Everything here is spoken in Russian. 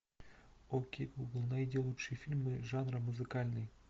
окей гугл найди лучшие фильмы жанра музыкальный